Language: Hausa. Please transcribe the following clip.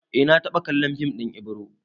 Eh na taɓa kallon fim ɗin Ibro